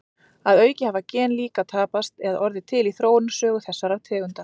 Að auki hafa gen líka tapast eða orðið til í þróunarsögu þessara tegunda.